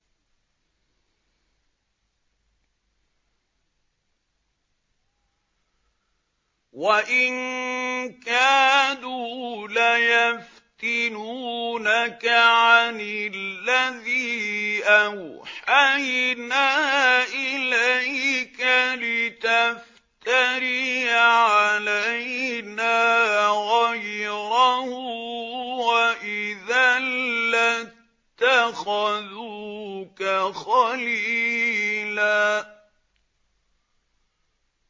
وَإِن كَادُوا لَيَفْتِنُونَكَ عَنِ الَّذِي أَوْحَيْنَا إِلَيْكَ لِتَفْتَرِيَ عَلَيْنَا غَيْرَهُ ۖ وَإِذًا لَّاتَّخَذُوكَ خَلِيلًا